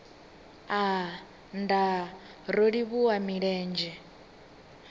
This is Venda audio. aa nndaa ro livhuwa milenzhe